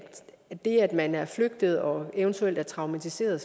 det at man er flygtet og eventuelt er traumatiseret